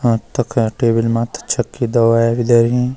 अ तख टेबल मा छके दवाई भी धरीं।